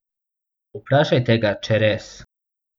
Vprašajte ga, če res.